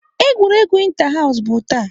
Egwuregwu inter house bụ taa.